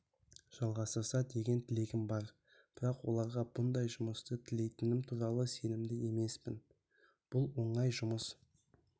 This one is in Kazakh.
жалғастырса деген тілегім бар бірақ оларға бұндай жұмысты тілейтінім туралы сенімді емеспін бұл оңай жұмыс